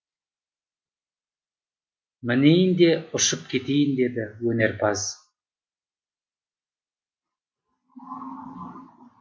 мінейін де ұшып кетейін деді өнерпаз